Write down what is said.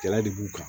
Jala de b'u kan